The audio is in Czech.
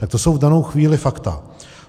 Tak to jsou v danou chvíli fakta.